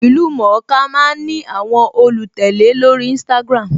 Ìlú-mọ̀-ọ́n-ka máa ń ní àwọn olùtẹ̀lé lórí Instagram